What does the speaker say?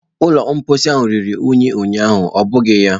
Ụlọ mposi ahụ ruru unyi ụnyaahụ, ọ bụghị ya?